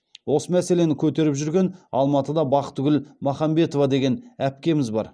осы мәселені көтеріп жүрген алматыда бахтыгүл махамбетова деген әпкеміз бар